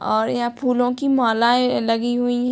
और यहाँ फूलो की मालाएं लगी हुई --